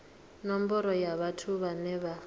nomboro ya vhathu vhane vha